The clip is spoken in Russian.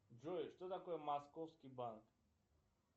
джой что такое московский банк